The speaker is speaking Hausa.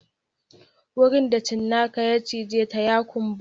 Wurin da cinnaka ya cije ta ya kumbura